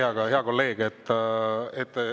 Aitäh, hea kolleeg!